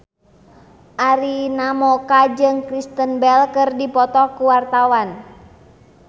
Arina Mocca jeung Kristen Bell keur dipoto ku wartawan